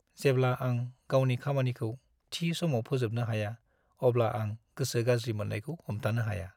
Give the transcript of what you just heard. जेब्ला आं गावनि खामानिखौ थि समाव फोजोबनो हाया अब्ला आं गोसो गाज्रि मोन्नायखौ हमथानो हाया।